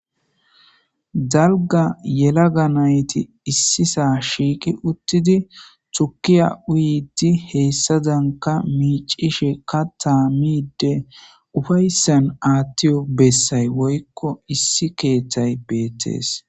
Dalga yelaga nayti issisaa shiiki uttidi tukiya uyitti heessadanka miicishe ka taamide ufayssan aathtiyo bessay woykko issi keeththay beettees.